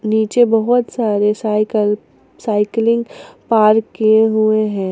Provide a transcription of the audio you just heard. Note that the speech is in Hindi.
नीचे बहोत सारे साइकल साइकलिंग पार्क किए हुए हैं।